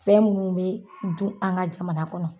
Fɛn munnu be dun an ŋa jamana kɔnɔ